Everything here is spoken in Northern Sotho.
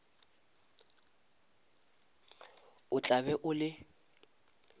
o tla be o le